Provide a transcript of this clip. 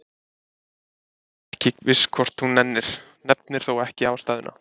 Agnes er ekki viss hvort hún nennir, nefnir þó ekki ástæðuna.